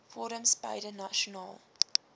forums beide nasionaal